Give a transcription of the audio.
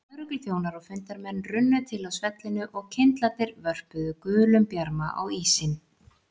Lögregluþjónar og fundarmenn runnu til á svellinu og kyndlarnir vörpuðu gulum bjarma á ísinn.